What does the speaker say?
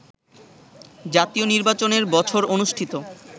জাতীয় নির্বাচনের বছর অনুষ্ঠিত